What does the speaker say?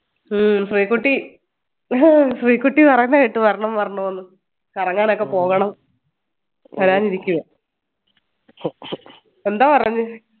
ഹും Sreekutty Sreekutty പറീന്ന കേട്ടു വരണം വരണം എന്ന് കറങ്ങാൻ ഒക്കെ പോകണം വരാനിരിക്കുവാ എന്തോ പറഞ്